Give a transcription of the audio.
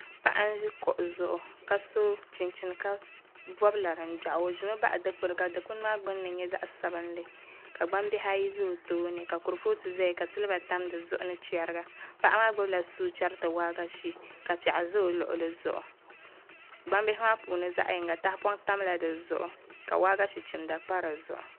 Paɣa n ʒi kuɣu zuɣu ka so chinchini ka bob laringbiɣu o ʒimi baɣa dikpuni ka dikpuni maa gbunni nyɛ zaɣ sabinli ka gbambihi ayi ʒɛ o tooni ka kurifooti ʒɛya ka silba tam di zuɣu ni chɛriga paɣa maa gbubila suu chɛriti waagashe ka piɛɣu ʒɛ o luɣuli ni zuɣu gbambihi maa punni zaɣ yinga tahapoŋ tamla di zuɣu ka waagashe chimda pa di zuɣu